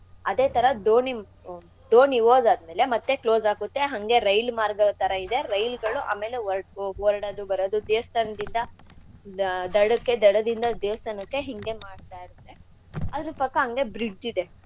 ಅದೇಥರಾ ದೋಣಿ ದೋಣಿ ಒಗಾದ್ಮೇಲೆ ಮತ್ತೆ close ಆಗುತ್ತೆ ಹಂಗೆ ರೈಲ್ ಮಾರ್ಗದ್ಥರಾ ಇದೆ ರೈಲ್ಗಳು ಆಮೇಲೆ ಒ~ ಒರ್~ ಒರ್ಡದು ಬರದು ದೆಸ್ತಾನ್ದಿಂದ ನ ದಡಕ್ಕೆ ದಡದಿಂದ ದೇಸ್ತಾನಕ್ಕೆ ಹಿಂಗೆ ಮಾಡ್ತಾ ಇರತ್ತೆ. ಅದ್ರ ಪಕ್ಕ ಹಂಗೆ bridge ಇದೆ.